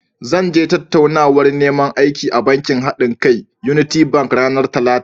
Zan je tattaunawar neman aiki a bankin haɗinka (unity bank) ranar Talata.